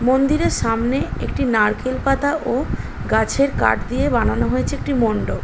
মন্দির-এর সামনে একটি নারকেল পাতা ও গাছের কাঠ দিয়ে বানানো হয়েছে একটি মণ্ডপ ।